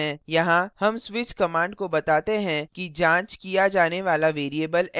यहाँ हम switch command को बताते हैं कि जांच किया जाने वाला variable x है